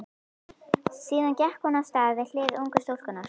Síðan gekk hún af stað við hlið ungu stúlkunnar.